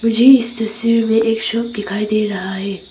मुझे इस तस्वीर में एक शॉप दिखाई दे रहा है।